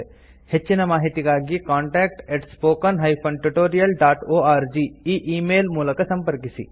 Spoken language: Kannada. ಹೆಚ್ಚಿನ ಮಾಹಿತಿಗಾಗಿ ಕಾಂಟಾಕ್ಟ್ spoken tutorialorg ಈ ಈ ಮೇಲ್ ಮೂಲಕ ಸಂಪರ್ಕಿಸಿ